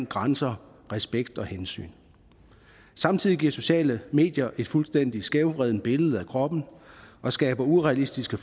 grænser respekt og hensyn samtidig giver sociale medier et fuldstændig skævvredet billede af kroppen og skaber urealistiske